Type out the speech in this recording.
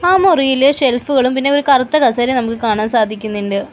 ആ മുറിയിൽ ഷെൽഫുകളും പിന്നെ ഒരു കറുത്ത കസേരയും നമുക്ക് കാണാൻ സാധിക്കുന്നുണ്ട്.